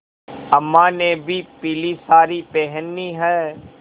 अम्मा ने भी पीली सारी पेहनी है